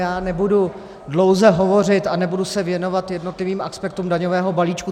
Já nebudu dlouze hovořit a nebudu se věnovat jednotlivým aspektům daňového balíčku.